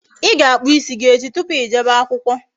Ị ga-akpụ ịsị gi echi tupu Ị jebe akwụkwọ